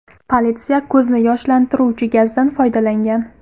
Politsiya ko‘zni yoshlantiruvchi gazdan foydalangan.